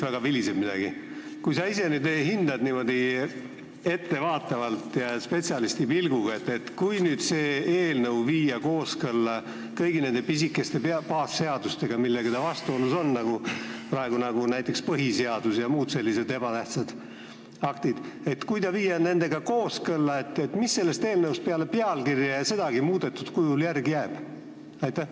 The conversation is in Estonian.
Vahest sa hindaksid niimoodi ettevaatavalt ja spetsialisti pilguga, et kui tõesti see eelnõu viia kooskõlla kõigi nende pisikeste baasseadustega, millega ta vastuolus on, nagu praegu näiteks põhiseadus ja muud sellised ebatähtsad aktid – kui see viia nendega kooskõlla, siis mis sellest eelnõust peale pealkirja – ja seda muudetud kujul – järele jääb?